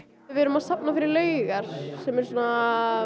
iVið erum að safna fyrir Laugar sem eru svona